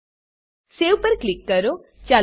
save પર click કરો